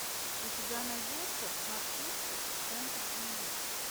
у тебя найдется нацисты в центре земли